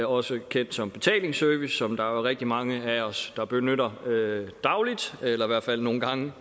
også kendt som betalingsservice som der jo er rigtig mange af os der benytter dagligt eller i hvert fald nogle gange